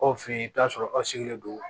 Aw fɛ yen i bɛ t'a sɔrɔ aw sigilen don